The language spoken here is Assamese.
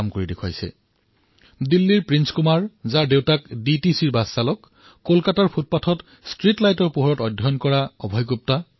লাগিলে তেওঁ দিল্লীৰ প্ৰিন্স কুমাৰেই হওক যাৰ পিতৃ ডিটিচিত বাচ চালক আছিল অথবা কলকাতাৰ অভয় গুপ্তা যিয়ে ফুটপাথত ষ্ট্ৰীট লাইটৰ তলত অধ্যয়ন কৰিছিল